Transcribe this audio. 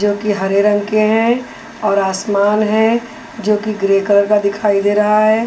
जोकि हरे रंग के हैं और आसमान है जोकि ग्रे कलर का दिखाई दे रहा है।